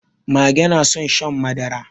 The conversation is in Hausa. Mage na son shan madara.